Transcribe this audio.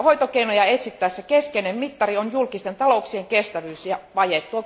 Hoitokeinoja etsittäessä keskeinen mittari on julkisten talouksien kestävyys ja vaje.